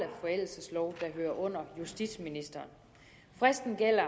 forældelseslov der hører under justitsministeren fristen gælder